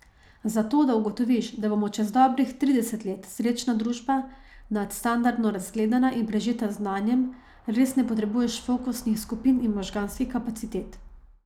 Za to, da ugotoviš, da bomo čez dobrih trideset let srečna družba, nadstandardno razgledana in prežeta z znanjem, res ne potrebuješ fokusnih skupin in možganskih kapacitet.